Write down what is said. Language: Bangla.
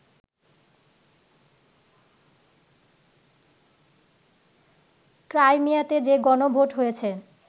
ক্রাইমিয়াতে যে গণভোট হয়েছে